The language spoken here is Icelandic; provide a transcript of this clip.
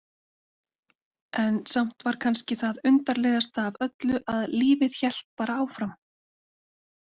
En samt var kannski það undarlegasta af öllu að lífið hélt bara áfram.